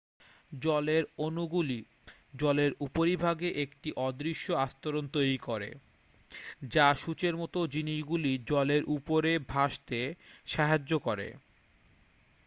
জলের অণুগুলি জলের উপরিভাগে একটি অদৃশ্য আস্তরণ তৈরি করে যা সূঁচের মতো জিনিসগুলি জলের উপরে ভাসতে সাহায্য করে